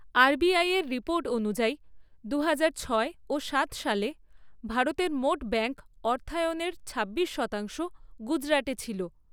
RBI এর report অনুযায়ী, দু হাজার ছয় ও সাত সালে, ভারতের মোট ব্যাংক অর্থায়নের ছাব্বিশ শতাংশ গুজরাটে ছিল।